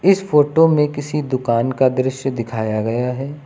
इस फोटो में किसी दुकान का दृश्य दिखाया गया है।